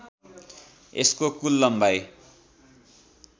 यसको कुल लम्बाइ